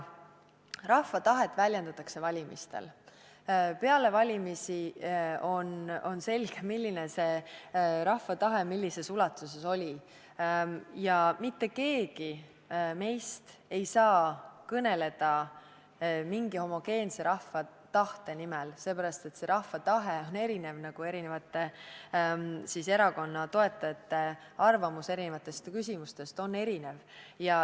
Rahva tahet väljendatakse valimistel – peale valimisi on selge, milline see rahva tahe millises ulatuses oli ja mitte keegi meist ei saa kõneleda mingi homogeense rahva tahte nimel – seepärast, et rahva tahe on erinev, nagu ka eri erakondade toetajate arvamus erisugustes küsimustes on erinev.